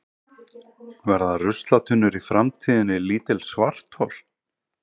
Verða ruslatunnur í framtíðinni lítil svarthol?